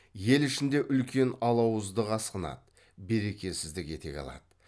ел ішінде үлкен алауыздық асқынады берекесіздік етек алады